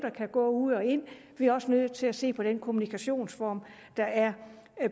ud og ind vi er også nødt til at se på den kommunikationsform der er